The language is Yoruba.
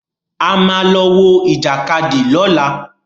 A ma lọ wọ Ìjàkadì lọ́la.